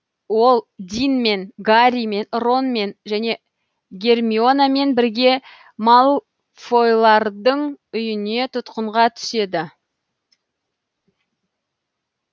ол динмен гарримен ронмен және гермионамен бірге малфойлардың үйіне тұтқынға түседі